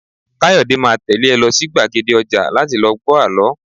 Kayode máa tẹ́lé ẹ lọ sí gbàgede ọjà láti lọ gbọ àlọ́